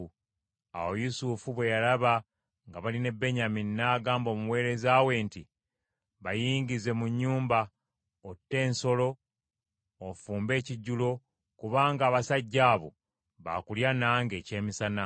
Awo Yusufu bwe yalaba nga bali ne Benyamini n’agamba omuweereza we nti, “Bayingize mu nnyumba, otte ensolo ofumbe ekijjulo, kubanga abasajja abo baakulya nange ekyemisana.”